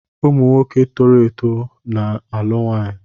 Ụmụ nwoke toro eto na-alụ nwunye